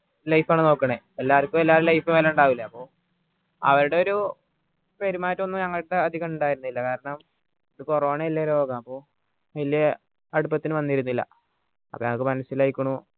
life ആൺ നോക്കണത് എല്ലാവർക്കും എല്ലാരെയും ലൈഫ് വില ഇണ്ടാവില്ലെ അപ്പൊ അവരുടെ ഒരു പെരുമാറ്റം ഒന്നും ഞങ്ങൾ എടുത്ത അധികം ഇണ്ടായിരുന്നില്ല കാരണം corona വലിയ രോഗാണ് അപ്പോ വലിയ അടുപ്പത്തിന് വന്നിരുന്നില്ല അപ്പോൾ ഞങ്ങൾക്ക് മനസ്സിലായിക്ക്ണു